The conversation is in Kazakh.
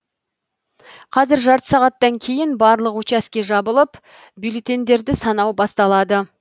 қазір жарты сағаттан кейін барлық участке жабылып бюллетеньдерді санау басталады